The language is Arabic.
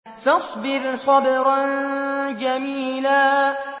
فَاصْبِرْ صَبْرًا جَمِيلًا